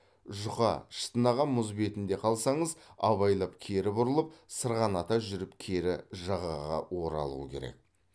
жұқа шытынаған мұз бетінде қалсаңыз абайлап кері бұрылып сырғаната жүріп кері жағаға оралу керек